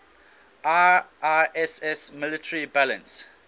iiss military balance